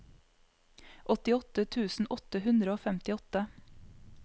åttiåtte tusen åtte hundre og femtiåtte